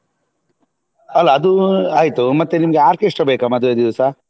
ಅಲ್ಲ ಅದು ಆಯ್ತು ಮತ್ತೆ ನಿಮ್ಗೆ orchestra ಬೇಕಾ ಮದ್ವೆ ದಿವ್ಸ?